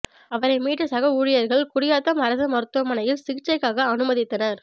அவரை மீட்ட சக ஊழியர்கள் குடியாத்தம் அரசு மருத்துவமனையில் சிகிச்சைக்காக அனுமதித்தனர்